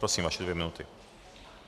Prosím, vaše dvě minuty.